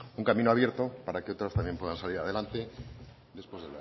un camino abierto para que otras también puedan salir adelante después